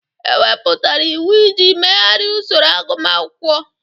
E wepụtara iwu iji megharịa usoro agụmakwụkwọ.